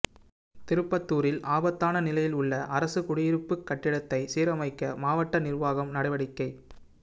திருப்பத்தூரில் ஆபத்தான நிலையில் உள்ள அரசுக் குடியிருப்பு கட்டடத்தைச் சீரமைக்க மாவட்ட நிா்வாகம் நடவடிக்கை